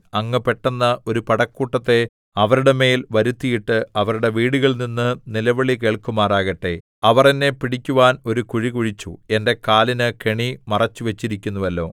അങ്ങ് പെട്ടെന്ന് ഒരു പടക്കൂട്ടത്തെ അവരുടെ മേൽ വരുത്തിയിട്ട് അവരുടെ വീടുകളിൽനിന്ന് നിലവിളി കേൾക്കുമാറാകട്ടെ അവർ എന്നെ പിടിക്കുവാൻ ഒരു കുഴി കുഴിച്ചു എന്റെ കാലിന് കെണി മറച്ചുവച്ചിരിക്കുന്നുവല്ലോ